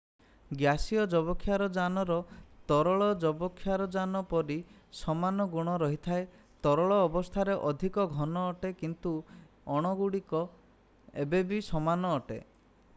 ଗ୍ୟାସୀୟ ଯବକ୍ଷାରଜାନର ତରଳ ଯବକ୍ଷାରଜାନ ପରି ସମାନ ଗୁଣ ରହିଥାଏ ତରଳ ଅବସ୍ଥା ଅଧିକ ଘନ ଅଟେ କିନ୍ତୁ ଅଣୁଗୁଡ଼ିକ ଏବେ ବି ସମାନ ଅଟେ